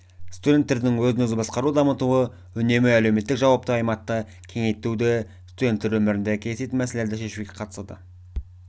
студенттердің өзін-өзі басқаруын дамыту үнемі әлеуметтік жауапты аймақты кеңейтуді студенттер өмірінде кездесетін мәселелерді шешуге қатысады